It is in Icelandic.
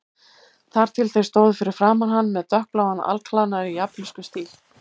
Þar til þeir stóðu fyrir framan hann með dökkbláan alklæðnað í japönskum stíl.